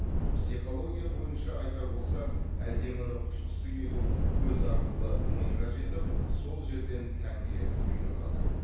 психология бойынша айтар болсақ әдеміні құшқысы келу көз арқылы миға жетіп сол жерден тәнге бұйрық алады